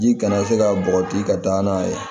Ji kana se ka bɔgɔti ka taa n'a ye